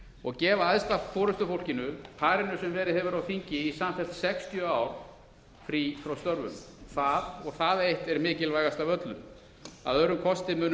og gefa æðsta forustufólkinu parinu sem verið hefur á þingi í samfellt sextíu ár frí frá störfum það og það eitt er mikilvægast af öllu að öðrum kosti munu